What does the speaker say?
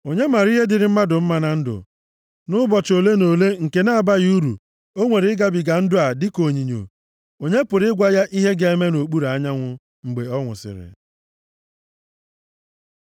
Onye mara ihe dịrị mmadụ mma na ndụ, nʼụbọchị ole na ole nke na-abaghị uru o nwere ịgabiga ndụ a dịka onyinyo? Onye pụrụ ịgwa ya ihe ga-eme nʼokpuru anyanwụ, mgbe ọ nwụsịrị?